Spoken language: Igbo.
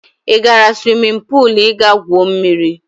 Ị gara swimin puul ị ga-gwuo mmiri?